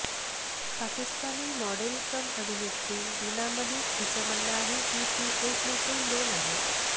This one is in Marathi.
पाकिस्तानी मॉडेल कम अभिनेत्री वीणा मलिक हिचं म्हणणं आहे की ती एक नसून दोन आहेत